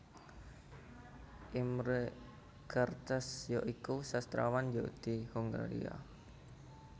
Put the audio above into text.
Imre Kertész ya iku sastrawan Yahudi Hongaria